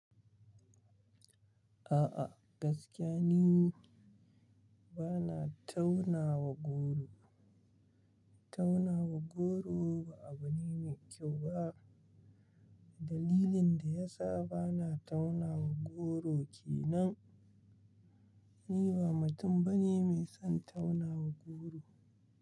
A'a gaskiya ni bana taunawa goro. Taunawa goro ba abu ne mai kyau ba. Dalilin da ya sa bana taunawa goro kenan ni ba mutum bane mai son taunawa goro.